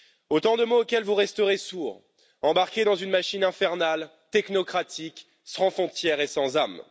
Autant de mots auxquels vous resterez sourds, embarqués dans une machine infernale, technocratique, sans frontières et sans âme.